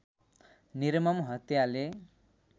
निर्मम हत्याले